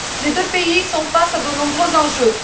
Les deux pays sont face à de nombreux enjeux.